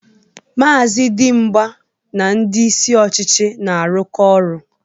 Maazị Dimgba na ndị isi ọchịchị na-arụkọ ọrụ.